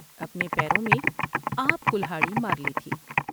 اپنے پیروں میں آپ کلہاڑی مار لی تھی ۔